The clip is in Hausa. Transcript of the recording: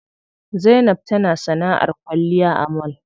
Zainab tana sanaʼar kwalliya a mall.